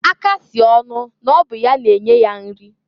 Aka sị ọnụ n'ọ bụ ya na-enye ya nri.